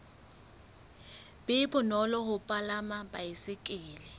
be bonolo ho palama baesekele